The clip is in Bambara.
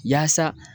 Yaasa